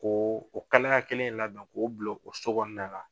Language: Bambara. Ko o kalaya kelen in labɛn k'o bila o so kɔnɔna na,